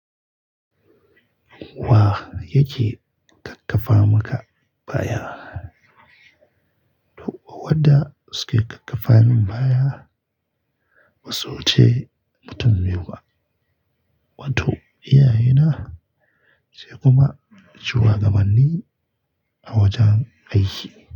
Wa yake kakkafa maka baya? To wadda suke kakkafa min baya ba su wu ce mutum biyu ba, wato iyaye na sai kuma shugaban ni a wajen aiki.